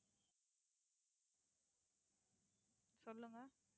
சொல்லுங்க